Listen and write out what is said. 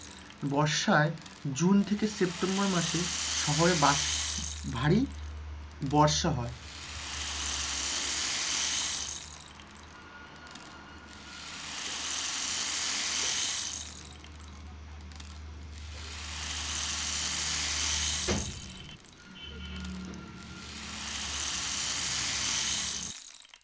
বর্ষায়, জুন থেকে সেপ্টেম্বর মাসে শহরে ভারী বর্ষা হয়,